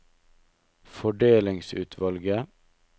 fordelingsutvalget